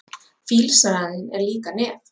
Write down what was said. Fílsraninn er líka nef.